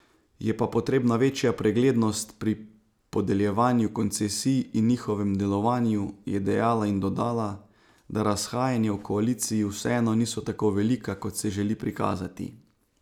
Je pa potrebna večja preglednost pri podeljevanju koncesij in njihovem delovanju, je dejala in dodala, da razhajanja v koaliciji vseeno niso tako velika, kot se želi prikazati.